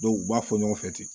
u b'a fɔ ɲɔgɔn fɛ ten